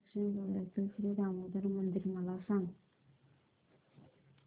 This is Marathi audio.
दक्षिण गोव्यातील श्री दामोदर मंदिर मला सांग